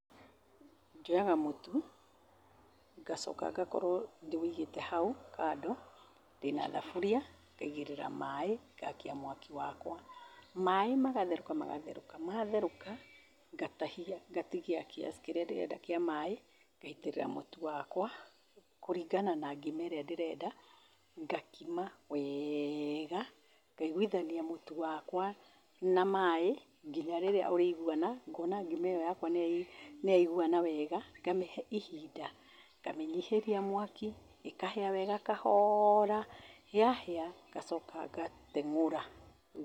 Njoyaga mũtu, ngacoka ngakorũo ndĩwĩigĩte hau, kando, ndĩna thaburia, ngaigĩrĩra maĩ, ngakia mwaki wakwa. Maĩ magatherũka magatherũka, matherũka, ngatahia ngatigia kiasi kĩrĩa ndĩrenda kĩa maĩ, ngaitĩrĩra mũtu wakwa, kũringana na ngima ĩrĩa ndĩrenda, ngakima wega, ngaiguithania mũtu wakwa na maĩ kinya rĩrĩa ũrĩiguana, ngona ngima ĩyo yakwa nĩyaiguana wega, ngamĩhe ihinda, ngamĩnyihĩria mwaki, ĩkahĩa wega kahoora, yahĩa, ngacoka ngateng'ũra.